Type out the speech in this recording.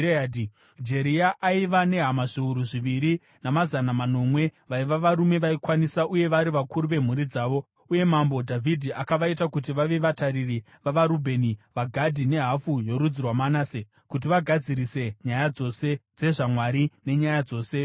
Jeria aiva nehama zviuru zviviri namazana manomwe vaiva varume vaikwanisa uye vari vakuru vemhuri dzavo, uye Mambo Dhavhidhi akavaita kuti vave vatariri vavaRubheni, vaGhadhi, nehafu yorudzi rwaManase kuti vagadzirise nyaya dzose dzezvaMwari nenyaya dzose dzamambo.)